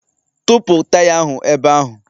Tụpụ taya ahụ ebe ahụ!